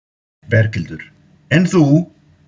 Berghildur: En þú?